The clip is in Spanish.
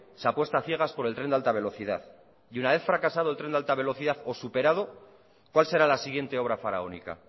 se apuesta a ciegas por el tren de alta velocidad y una vez fracasado el tren de alta velocidad o superado cuál será la siguiente obra faraónica